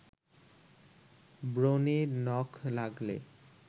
ব্রণে নখ লাগলে